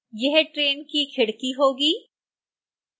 यह ट्रेन की खिड़की होगी